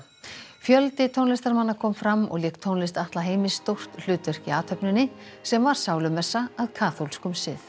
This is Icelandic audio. fjöldi tónlistarmanna kom fram og lék tónlist Atla Heimis stórt hlutverk í athöfninni sem var sálumessa að kaþólskum sið